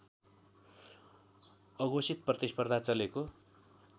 अघोषित प्रतिस्पर्धा चलेको